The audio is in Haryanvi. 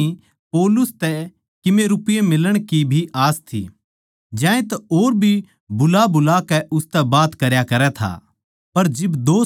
फेलिक्स ताहीं पौलुस तै कीमे रपिये मिलण की भी आस थी ज्यांतै और भी बुलाबुलाकै उसतै बात करया करै था